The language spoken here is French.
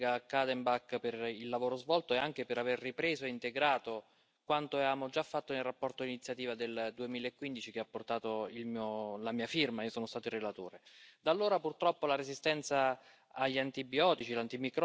Car les antibiotiques en élevage sont utilisés pour éviter les épidémies dans les troupeaux, mais surtout pour accélérer la croissance des bêtes. Cela finit, in fine par entraîner une contamination de toute la chaîne alimentaire.